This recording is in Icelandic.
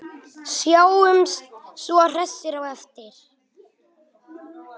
Sjáumst svo hressir á eftir.